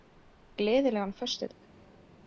Gleðilegan föstudag.